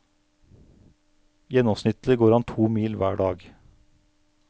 Gjennomsnittlig går han to mil hver dag.